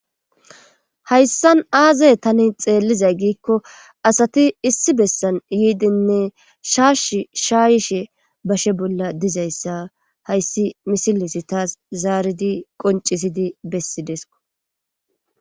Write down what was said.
hayssan aazay tani xeellizay giikko asati issi bessan yiidinne shaash shaayshe bashe bolla dizayssa hayssi misilis taas zaaridi qoncisidi bessideesko